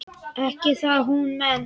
Ekki það hún man.